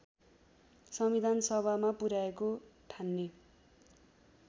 संविधानसभामा पुर्‍याएको ठान्ने